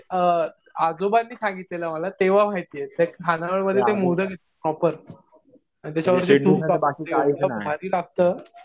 म्हणजे आजोबांनी सांगितलं मला तेव्हा माहितीये. त्या खाणावळमध्ये ते मोदक प्रॉपर. आणि त्याच्यावरती तूप तर एकदम भारी लागतं.